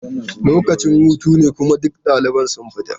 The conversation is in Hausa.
Lokacin hutu ne kuma duk ɗaliban sun fita.